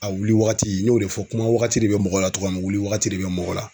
A wuli wagati n y'o de fɔ kuma wagati de bɛ mɔgɔ la togoya min wuli wagati de bɛ mɔgɔ la